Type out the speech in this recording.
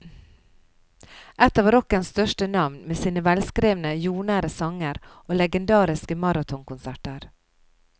Et av rockens største navn, med sine velskrevne, jordnære sanger og legendariske maratonkonserter.